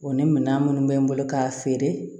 O ni minan minnu bɛ n bolo k'a feere